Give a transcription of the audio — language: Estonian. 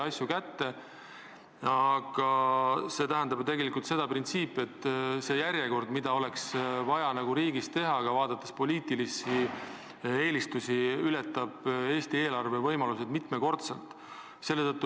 Aga vaadates järjekorda, mida oleks vaja riigis teha, vaadates poliitilisi eelistusi, tähendab see paraku seda, et see kõik ületab Eesti eelarve võimalused mitmekordselt.